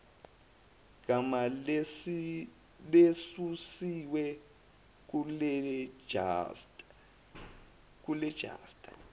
gama lesusiwe kulejista